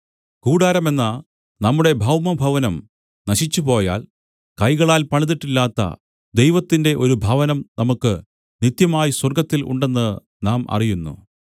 കൂടാരമെന്ന നമ്മുടെ ഭൗമഭവനം നശിച്ചുപോയാൽ കൈകളാൽ പണിതിട്ടില്ലാത്ത ദൈവത്തിന്റെ ഒരു ഭവനം നമുക്ക് നിത്യമായി സ്വർഗ്ഗത്തിൽ ഉണ്ടെന്ന് നാം അറിയുന്നു